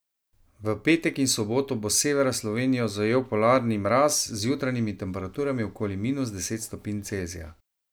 V petek in soboto bo s severa Slovenijo zajel polarni mraz z jutranjimi temperaturami okoli minus deset stopinj Celzija.